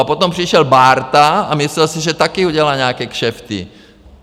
A potom přišel Bárta a myslel si, že taky udělal nějaké kšefty.